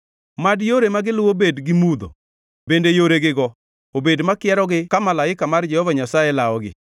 mad yore ma giluwo bed gi mudho bende yoregigo obed makierogi ka malaika mar Jehova Nyasaye lawogi.